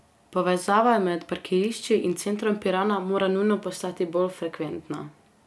Povezava med parkirišči in centrom Pirana mora nujno postati bolj frekventna.